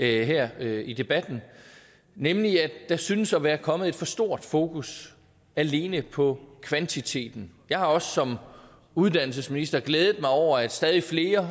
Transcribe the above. her i debatten nemlig at der synes at være kommet et for stort fokus alene på kvantiteten jeg har også som uddannelsesminister glædet mig over at stadig flere